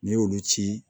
N'i y'olu ci